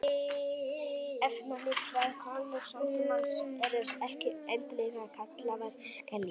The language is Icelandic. efnalitlar konur samtímans eru ekki endilega kallaðar kerlingar